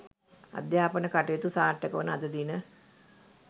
අධ්‍යාපන කටයුතු සාර්ථක වන අද දින